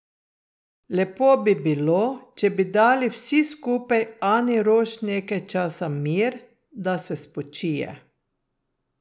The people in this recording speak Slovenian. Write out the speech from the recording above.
Lepo bi bilo, če bi dali vsi skupaj Ani Roš nekaj časa mir, da se spočije.